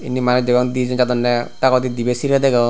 indi manuj degong dijon jadondey dagodi dibey sirey degong.